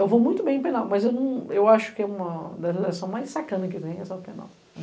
Eu vou muito bem em penal, mas eu acho que é uma das leis mais sacanas que tem, essa penal.